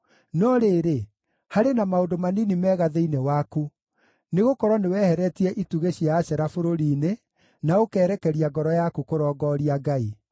No rĩrĩ, harĩ na maũndũ manini mega thĩinĩ waku, nĩgũkorwo nĩweheretie itugĩ cia Ashera bũrũri-inĩ, na ũkerekeria ngoro yaku kũrongooria Ngai.”